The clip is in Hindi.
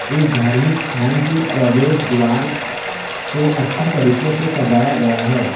इस धार्मिक स्थान के प्रवेश द्वार को अच्छे तरीके से सजाया गया है।